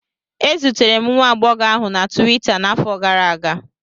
E zutere m nwa agbọghọ ahụ na Tuweeta n'afọ gara aga